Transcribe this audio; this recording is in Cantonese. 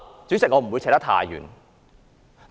主席，我不會說得太遠。